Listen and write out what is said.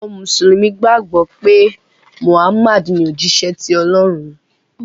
àwọn mùsùlùmí gbàgbó pé Muhammad ní òjíṣẹ tí Olórun.